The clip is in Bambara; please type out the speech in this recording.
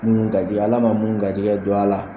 Munni garisigɛ, Ala ma munni garisigɛ don a la